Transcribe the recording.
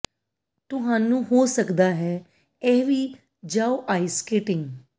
ਤੁਹਾਨੂੰ ਹੋ ਸਕਦਾ ਹੈ ਇਹ ਵੀ ਜਾਓ ਆਈਸ ਸਕੇਟਿੰਗ